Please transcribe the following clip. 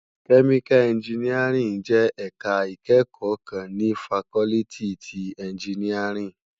Kèmíká ènjìníárìn jè èká ikèékò kán ni fákòlìtí ti ènjìníárìn